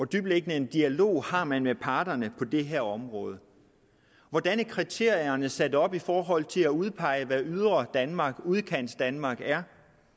dybtliggende en dialog har man med parterne på det her område hvordan er kriterierne sat op i forhold til at udpege hvad det ydre danmark udkantsdanmark er